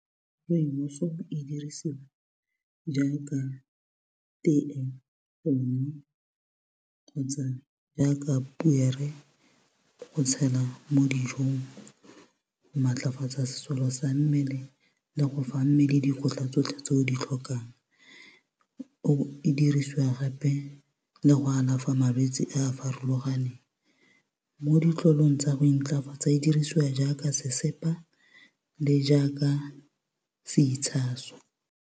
Rooibos e dirisiwa jaaka tee gongwe, kgotsa jaaka poere go tshela mo dijong. Maatlafatsa sesole sa mmele, le go fa mmele dikotla tsotlhe tse o di tlhokang. E dirisiwa gape le go alafa malwetsi a a farologaneng, mo ditlolong tsa go intlafatsa, e dirisiwa jaaka sesepa le jaaka seitshaso.